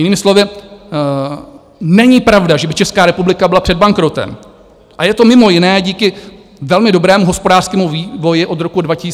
Jinými slovy, není pravda, že by Česká republika byla před bankrotem, a je to mimo jiné díky velmi dobrému hospodářskému vývoji od roku 2014 až do covidu.